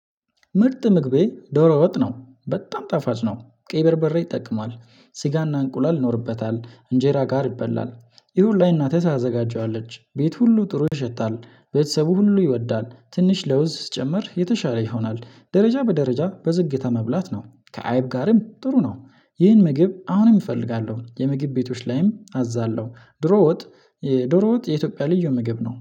ምርጥ ምግቤ ዶሮ ወጥ ነው በጣም ጠፋጭ ነው ቀይ በርበሬ ይጠቅማል ስጋና እንቁላል ይኖርበታል እንጀራ ጋር ይበላል ይሁላ እናት ተዘጋጀዋለች ቤት ሁሉ ጥሩ ይሸታል ቤተሰቡ ሁሉ ይወዳል ትንሽ ለውዝ ጭምር የተሻለ ይሆናል ደረጃ በደረጃ በዝግታ መብላት ነው። ከአይብ ጋርም ጥሩ ነው። ይህን ምግብ አሁንም እፈልጋለሁ የምግብ ቤቶች ላይም አዛለሁ ድሮ ወጥ። ዶሮ ወጥ የኢትዮጵያ ልዩ ምግብ ነው